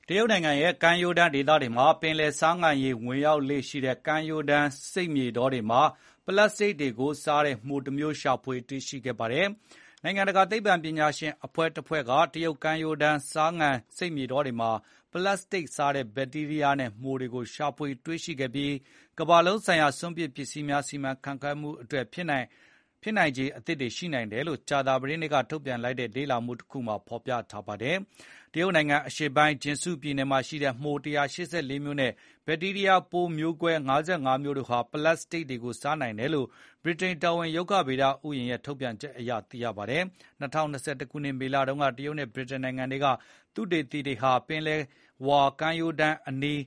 တရုတ်နိုင်ငံရဲ့ ကမ်းရိုးတန်းဒေသမှာရှိတဲ့ ပင်လယ်ဆားငံရေ ၀င်ရောက်လေ့ရှိတဲ့ ကမ်းရိုးတန်း မြက်ခင်းပြင်ဧရိယာတွေမှာ ပလတ်စတစ်တွေကို စားတဲ့ မှိုတမျိုး ရှာဖွေတွေ့ရှိခဲ့ပါတယ်။ နိုင်ငံတကာ သိပ္ပံပညာရှင်အဖွဲ့တဖွဲ့က တရုတ်ကမ်းရိုးတန်း ဆားနယ်ဒေသတွေမှာ ပလတ်စတစ်စားတဲ့ ဘက်တီးရီးယားနဲ့ မှိုတွေကို ရှာဖွေတွေ့ရှိခဲ့ပြီး ကမ္ဘာလုံးဆိုင်ရာ စွန့်ပစ်ပစ္စည်းများ စီမံခန့်ခွဲမှုအတွက် ဖြစ်နိုင်ခြေအသစ်တွေရှိနိုင်တယ်လို့ ကြာသပတေးနေ့ကထုတ်ပြန်လိုက်တဲ့ လေ့လာမှုတစ်ခုမှာဖော်ပြထားတာပါ။ တရုတ်နိုင်ငံ အရှေ့ပိုင်း Jiangsu ပြည်နယ်မှာရှိတဲ့ မှို ၁၈၄ မျိုးနဲ့ ဘက်တီးရီးယား ပိုးမျိုးကွဲ ၅၅ မျိုးတို့ဟာ ပလတ်စတစ်တွေကို စားနိုင်တယ်လို့ ဗြိတိန်က တော်ဝင် ရုက္ခဗေဒ ဥယျာဥ် ရဲ့ ထုတ်ပြန်ချက်အရ သိရပါတယ်။ ၂၀၂၁ ခုနှစ် မေလတုန်းက တရုတ်နဲ့ ဗြိတိန်နိုင်ငံ တွေက သုတေသီတွေဟာ ပင်လယ်ဝါကမ်းရိုးတန်းအနီး